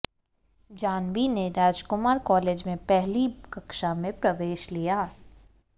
जाह्नवी ने राजकुमार कॉलेज में पहली कक्षा में प्रवेश लिया है